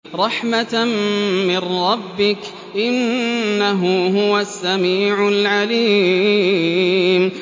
رَحْمَةً مِّن رَّبِّكَ ۚ إِنَّهُ هُوَ السَّمِيعُ الْعَلِيمُ